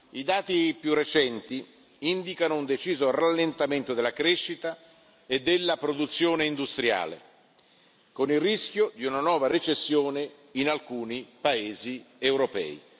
I dati più recenti indicano un deciso rallentamento della crescita e della produzione industriale, con il rischio di una nuova recessione in alcuni paesi europei.